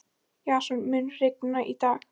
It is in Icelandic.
Jason, mun rigna í dag?